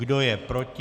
Kdo je proti?